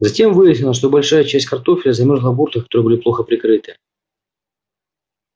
затем выяснилось что большая часть картофеля замёрзла в гуртах которые были плохо прикрыты